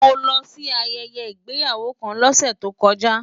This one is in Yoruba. Mo lọ sí ayẹyẹ ìgbéyàwó kan lọ́sẹ̀ tó kọjá.